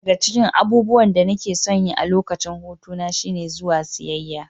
Ɗaya daga cikin abubuwan da nake son yi a lokacin hutu na shine zuwa siyayya.